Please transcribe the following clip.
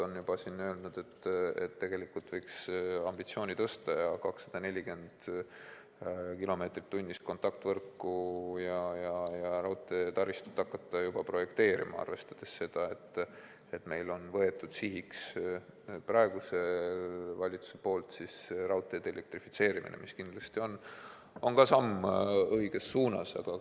Mõned vallad on öelnud, et tegelikult võiks ambitsiooni tõsta veelgi ja hakata projekteerima sellist kontaktvõrku ja raudteetaristut, mis võimaldaks kiirust 240 km/h, arvestades seda, et praegune valitsus on võtnud sihiks raudteede elektrifitseerimise, mis on kindlasti samm õiges suunas.